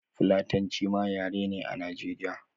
Fulatanci ma yare ne a nigeria